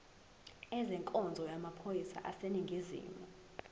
ezenkonzo yamaphoyisa aseningizimu